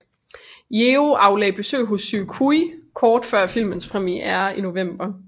Yeoh aflagde besøg hos Suu Kyi kort før filmens premiere i november